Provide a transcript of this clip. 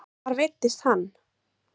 Lillý Valgerður: Hvar veiddist hann?